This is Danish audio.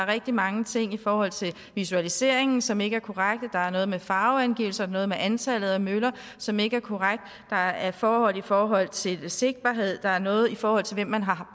rigtig mange ting i forhold til visualiseringen som ikke er korrekte der er noget med farveangivelser og noget med antallet af møller som ikke er korrekt der er forhold i forhold til sigtbarhed der er noget i forhold til hvem man har